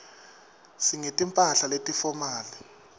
singeti mphahla leti fomali